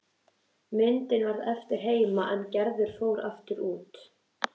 Myndin varð eftir heima er Gerður fór út aftur.